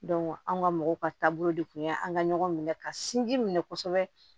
anw ka mɔgɔw ka taabolo de kun y'an ka ɲɔgɔn minɛ ka sinji minɛ kosɛbɛ